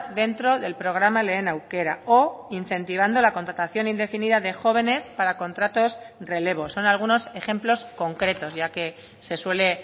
dentro del programa lehen aukera o incentivando la contratación indefinida de jóvenes para contratos relevos son algunos ejemplos concretos ya que se suele